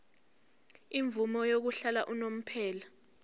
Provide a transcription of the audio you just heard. imvume yokuhlala unomphema